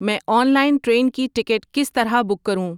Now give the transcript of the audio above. میں online train کی ticket کس طرح بوک کروں